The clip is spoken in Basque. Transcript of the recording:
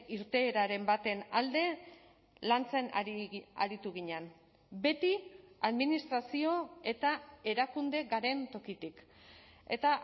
irteeraren baten alde lantzen aritu ginen beti administrazio eta erakunde garen tokitik eta